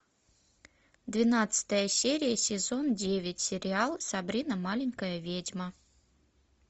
двенадцатая серия сезон девять сериал сабрина маленькая ведьма